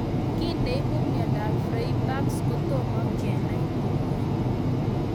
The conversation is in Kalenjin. kiy neipu miondop Freiberg's kotomo kenai komie